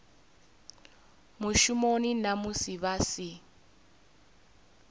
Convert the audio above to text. mushumoni na musi vha si